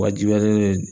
Wajibiyalen don